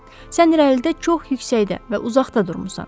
Sən irəlidə çox yüksəkdə və uzaqda durmusan.